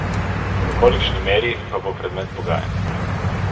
V kolikšni meri, pa bo predmet pogajanj.